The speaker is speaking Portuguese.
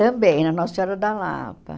Também, na Nossa Senhora da Lapa.